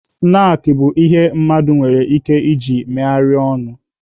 Snaakị bụ ihe mmadụ nwere ike iji megharịa ọnụ.